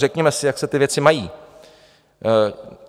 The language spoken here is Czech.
Řekněme si, jak se ty věci mají.